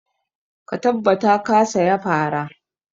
Ka tabbata ka saya fara!